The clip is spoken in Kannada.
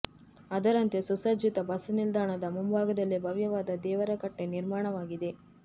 ಅದರಂತೆ ಸುಸಜ್ಜಿತ ಬಸ್ ನಿಲ್ದಾಣದ ಮುಂಭಾಗದಲ್ಲೇ ಭವ್ಯವಾದ ದೇವರ ಕಟ್ಟೆ ನಿರ್ಮಾಣವಾಗಿದೆ